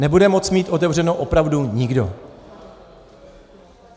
Nebude moci mít otevřeno opravdu nikdo.